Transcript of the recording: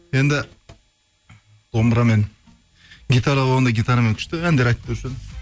енді домбырамен гитара болғанда гитарамен күшті әндер айтып беруші едім